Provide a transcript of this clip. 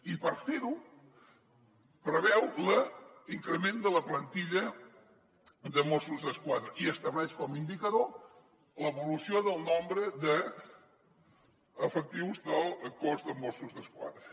i per fer ho preveu l’increment de la plantilla de mossos d’esquadra i estableix com a indicador l’evolució del nombre d’efectius del cos de mossos d’esquadra